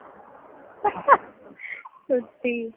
সত্যি